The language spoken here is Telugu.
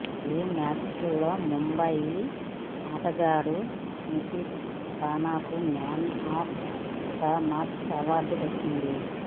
ఈ మ్యాచ్లో ముంబ యి ఆటగాడు నితీశ్ రాణాకు man of the match award దక్కింది